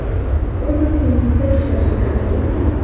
O‘z ustingizda ishlashga harakat qiling.